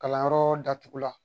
Kalanyɔrɔ datugu la